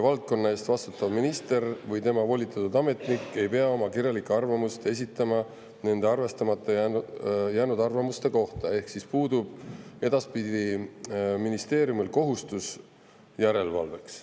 Valdkonna eest vastutav minister või tema volitatud ametnik ei pea oma kirjalikku arvamust esitama arvestamata jäänud arvamuste kohta ehk edaspidi puudub ministeeriumil kohustus järelevalveks.